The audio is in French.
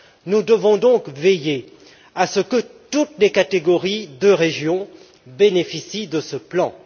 Nous devons donc veiller à ce que toutes les catégories de régions bénéficient de ce plan.